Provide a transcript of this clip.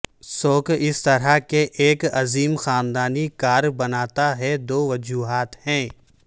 سوک اس طرح کے ایک عظیم خاندان کار بناتا ہے دو وجوہات ہیں